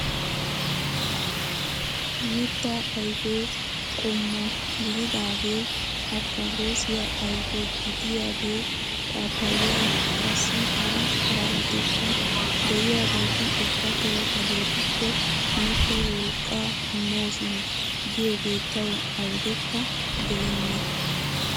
Mittaa ayfee qommo gididagee afikaadosiyaa ayfe gidiyaagee, paappayay qassi hara harabatikka de'iyaageti ubbatoo hagetuppe miikko wolqqaa immoosona giyoogee tawu awudekka gelenna!